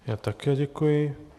Já také děkuji.